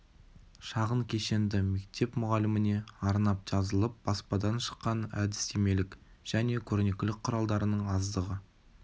шағын кешенді мектеп мұғаліміне арнап жазылып баспадан шыққан әдістемелік және көрнекілік құралдарының аздығы